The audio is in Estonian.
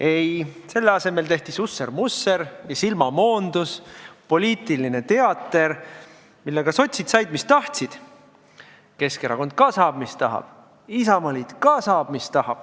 Ei, selle asemel tehti susser-vusser ja silmamoondus, poliitiline teater, millega sotsid said, mis tahtsid, Keskerakond ka saab, mis tahab, Isamaaliit ka saab, mis tahab.